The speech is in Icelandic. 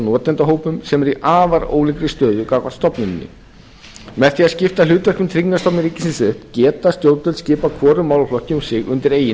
notendahópum sem eru í afar ólíkri stöðu gagnvart stofnuninni með því að skipta hlutverkum tryggingastofnunar ríkisins upp geta stjórnvöld skipað hvorum málaflokki um sig undir eigin